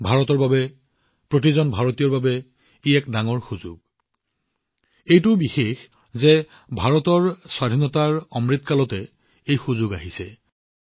ভাৰতৰ বাবে প্ৰতিজন ভাৰতীয়ৰ বাবে কি এক মহান সুযোগ আহিছে এইটো আৰু অধিক বিশেষ হৈ পৰিছে কাৰণ আজাদী কা অমৃত কালৰ সময়ত ভাৰতক এই দায়িত্ব প্ৰদান কৰা হৈছে